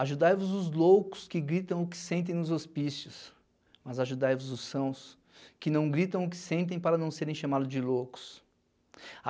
Ajudai-vos os loucos que gritam o que sentem nos hospícios, mas ajudai-vos os sãos que não gritam o que sentem para não serem chamados de loucos.